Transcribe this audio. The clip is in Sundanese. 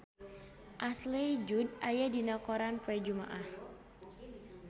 Ashley Judd aya dina koran poe Jumaah